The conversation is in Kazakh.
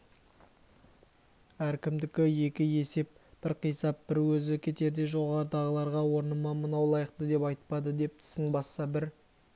әркімдікі екі есеп бір қисап бір өзі кетерде жоғарыдағыларға орныма мынау лайықты деп айтпады деп тісін басса бір